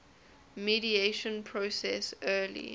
mediation process early